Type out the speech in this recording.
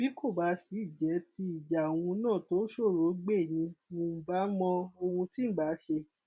bí kò sì jẹ tí ìjà òun náà tó ṣòroó gbé ni ǹ bá mọ ohun tí ǹ bá ṣe